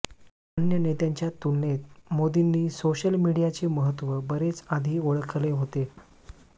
अन्य नेत्यांच्या तुलनेत मोदींनी सोशल मीडियाचे महत्व बरेच आधी ओळखले होते